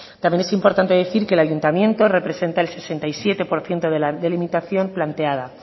también es importante decir que el ayuntamiento representa el sesenta y siete por ciento de la delimitación planteada